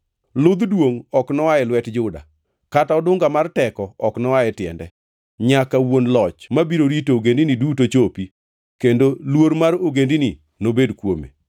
Ludh duongʼ ok noa e lwet Juda kata odunga mar teko ok noa e tiende, nyaka wuon loch ma biro rito ogendini duto chopi kendo luor mar ogendini nobed kuome.